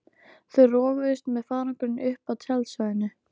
Þau roguðust með farangurinn upp að tjaldstæðinu.